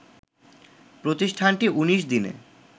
প্রতিষ্ঠানটি ১৯ দিনে